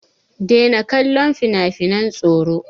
Daina kallon finafinan tsoro!